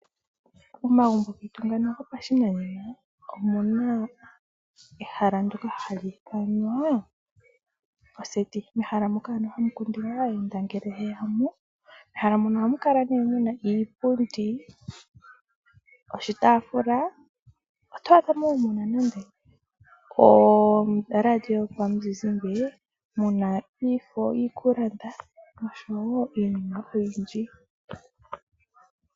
Momagumbo getu ngano gopashinanena , omuna ehala ndoka hali ithanwa oseti moka hamu kundilwa aayenda ngele ye yamo. Mehala muka ohamu kala muna iipundi , oshitaafula oto vulu woo oku adhamo oradio yomuzizimba ,muna iifo yiikulanda noshowo iinima oyindji .